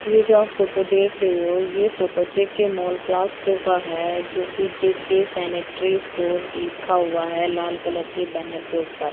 ये जो आप फोटो देख रहे हो ये फोटो जे_के मॉल प्लास्टो का है जोकि जे_के सेनेटरी स्टोर लिखा हुआ हैं लाल कलर के बैनर के ऊपर--